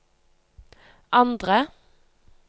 andre